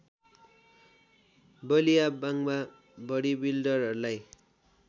बलिया बाङ्‍गा बडिबिल्डरहरूलाई